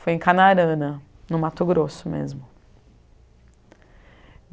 Foi em Canarana, no Mato Grosso mesmo.